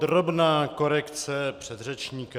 Drobná korekce předřečníka.